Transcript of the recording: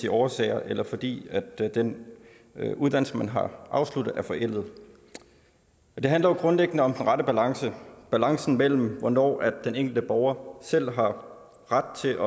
årsager eller fordi den uddannelse man har afsluttet er forældet det handler jo grundliggende om den rette balance balancen mellem hvornår den enkelte borger selv har ret til